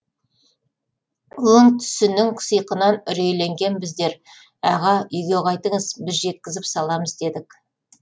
өң түсінің сиқынан үрейленген біздер аға үйге қайтыңыз біз жеткізіп саламыз дедік